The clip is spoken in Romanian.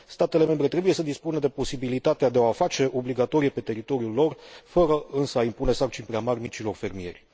Statele membre trebuie să dispună de posibilitatea de a o face obligatorie pe teritoriul lor, fără însă a impune sarcini prea mari micilor fermieri.